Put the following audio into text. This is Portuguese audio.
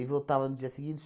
voltava no dia seguinte.